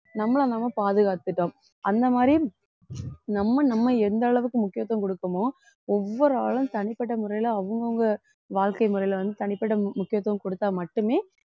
நம்மளை நம்ம பாதுகாத்துட்டோம் அந்த மாதிரி நம்ம நம்ம எந்த அளவுக்கு முக்கியத்துவம் குடுக்கணுமோ ஒவ்வொரு ஆளும் தனிப்பட்ட முறையில அவங்கவங்க வாழ்க்கை முறையில வந்து தனிப்பட்ட முக்கியத்துவம் கொடுத்தா மட்டுமே